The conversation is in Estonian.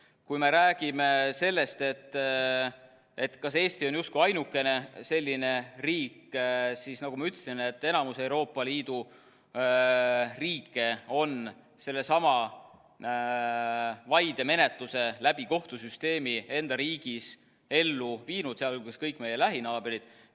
Kui me räägime sellest, kas Eesti on justkui ainukene selline riik, siis nagu ma ütlesin, et enamik Euroopa Liidu riike on sellesama vaidemenetluse kohtusüsteemi kaudu enda riigis ellu viinud, sh kõik meie lähinaabrid.